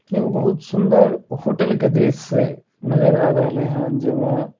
एगो बहुत सुन्दर होटल का दृश्य नजर आ रहले हेय जे मे --